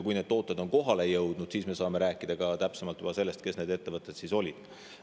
Kui need tooted on kohale jõudnud, siis me saame rääkida juba täpsemalt sellest, kes need ettevõtted olid.